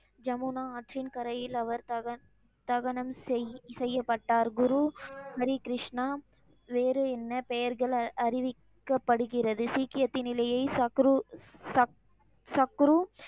ஜமுனா ஆற்றின் கரையில் அவர் தகனம் செய், தகனம் செய்யப்பட்டார். குரு ஹரிகிருஷ்ணா வேறு என்ன பெயர்கள் அறிவிக்கப்படுகிறது? சீக்கியத்தினிலியே சக்ரு, சக்ரு,